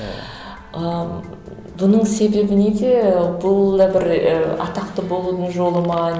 ыыы бұның себебі неде бұл да бір і атақты болудың жолы ма